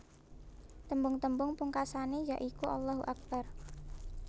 Tembung tembung pungkasané ya iku Allahu Akbar